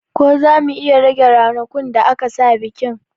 Ko zamu iya rage ranakun da aka sa bikin